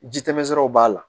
Ji tɛmɛsiraw b'a la